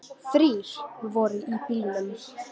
Þrír voru í bílnum.